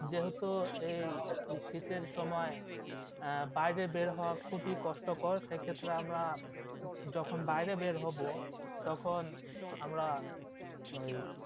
যেহেতু এই শীতের সময় আহ বাইরে বেড় হওয়া খুবই কষ্টকর সেক্ষেত্রে আমরা যখন বাইরে বেড় হবো তখন আমরা ওই